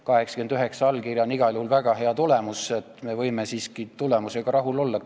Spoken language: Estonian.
89 allkirja on igal juhul väga hea tulemus, nii et me võime siiski tulemusega rahul olla.